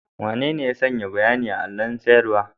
Wanene ya sanya bayanin a allon sanarwa?